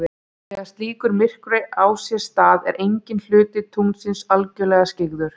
þegar slíkur myrkvi á sér stað er enginn hluti tunglsins algjörlega skyggður